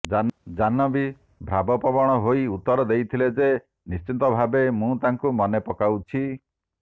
ଜାହ୍ନବୀ ଭାବପ୍ରବଣ ହୋଇ ଉତ୍ତର ଦେଇଥିଲେ ଯେ ନିଶ୍ଚିତ ଭାବେ ମୁଁ ତାଙ୍କୁ ମନେ ପକାଉଛି